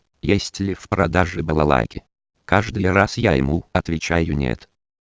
есть ли в продаже балалайки каждый раз я ему отвечаю нет